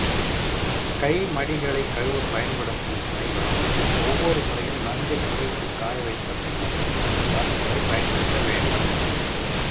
கை மடிகளைக் கழுவப் பயன்படுத்தும் துணிகளும் ஒவ்வொரு முறையும் நன்கு துவைத்துக் காயவைத்த பின்னரே மறு முறை பயன்படுத்தவேண்டும்